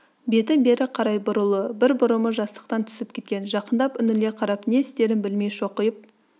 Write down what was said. беті бері қарай бұрулы бір бұрымы жастықтан түсіп кеткен жақындап үңіле қарап не істерін білмей шоқиып